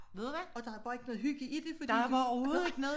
Ved du hvad og der er bare ikke noget hygge i det fordi du